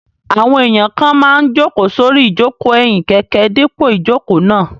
Àwọn èèyàn kan máa n jòkó sórí ìjòkó ẹ̀yìn kẹ̀kẹ́ dípò ìjòkó náà